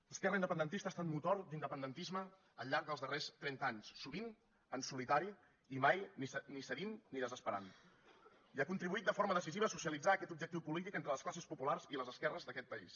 l’esquerra independentista ha estat motor d’independentisme al llarg dels darrers trenta anys sovint en solitari i mai ni cedint ni desesperant i ha contribuït de forma decisiva a socialitzar aquest objectiu polític entre les classes populars i les esquerres d’aquest país